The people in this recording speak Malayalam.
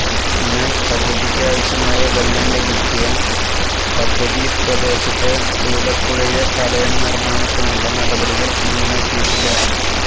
എന്നാല് പദ്ധതിക്കാവശ്യമായ വെള്ളം ലഭിക്കുവാന് പദ്ധതി പ്രദേശത്തെ തൂതപ്പുഴയിലെ തടയണ നിര്മാണത്തിനുള്ള നടപടികള് എങ്ങുമെത്തിയിട്ടില്ല